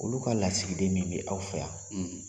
Olu ka lasigiden min bɛ aw fɛ yan